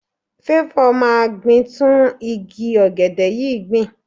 Favour máa gbin tún igi ọ̀gẹ̀dẹ̀ yìí gbìn.